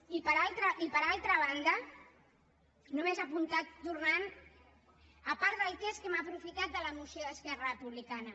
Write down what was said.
i per altra banda només apuntar a part del text que hem aprofitat de la moció d’esquerra republicana